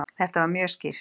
Þetta var mjög skýrt.